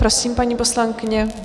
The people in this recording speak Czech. Prosím, paní poslankyně.